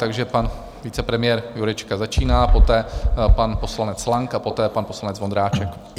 Takže pan vicepremiér Jurečka začíná, poté pan poslanec Lang a poté pan poslanec Vondráček.